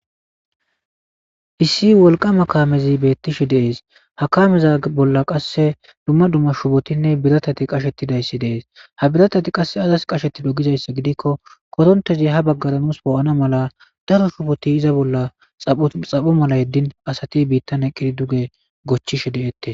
Issi wolqama kaamezi beettishe de'es. Ha kameza bolla qasse dumma dumma shubotinne biratati qashetidayssi de'es. Ha biratati qasse azas qashettido gizayssa gidikko korontezi ha baggara nus poo'ana mala daro shuboti iza bolla xapho mala yeddin asati biittane eqidi duge goochchishe de'etees.